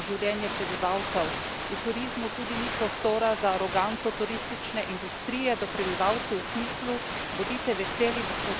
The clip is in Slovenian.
V turizmu tudi ni prostora za aroganco turistične industrije do prebivalcev v smislu bodite veseli, da smo tukaj in vam dajemo delo.